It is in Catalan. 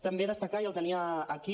també destacar i el tenia aquí